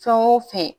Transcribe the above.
Fɛn o fɛn